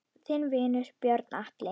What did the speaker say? Þinn vinur, Björn Atli.